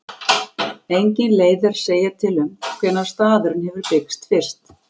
Engin leið er að segja til um hvenær staðurinn hefur byggst fyrst.